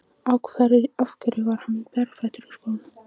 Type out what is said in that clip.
Af hverju var hann berfættur í skónum?